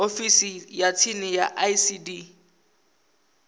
ofisini ya tsini ya icd